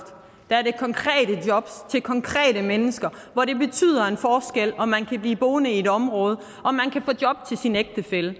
der er det konkrete jobs til konkrete mennesker hvor det betyder en forskel om man kan blive boende i et område og om man kan få job til sin ægtefælle